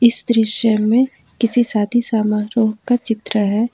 इस दृश्य में किसी शादी समारोह का चित्र है।